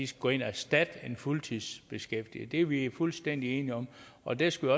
skal gå ind og erstatte en fuldtidsbeskæftiget det er vi fuldstændig enige om og der skal